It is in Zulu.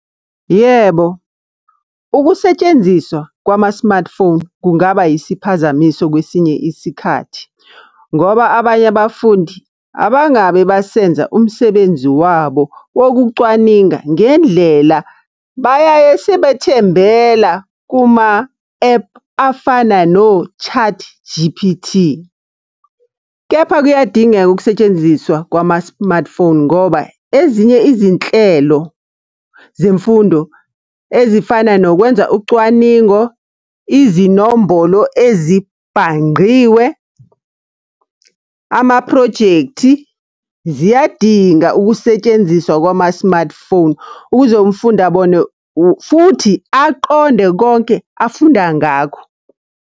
Yebo, ukusetshenziswa kwama-smartphone, kungaba isiphazamiso kwesinye isikhathi. Ngoba abanye abafundi, abangabe basenza umsebenzi wabo wokucwaninga ngendlela. Bayaye sebethembela kuma-ephu afana no-ChatG_P_T. Kepha kuyadingeka ukusetshenziswa kwama-smartphone ngoba, ezinye izinhlelo zemfundo ezifana nokwenza ucwaningo, izinombolo ezibhangqiwe, amaphrojekthi, ziyadinga ukusetshenziswa kwama-smartphone, ukuze umfundi abone . Futhi, aqonde konke afunda ngakho.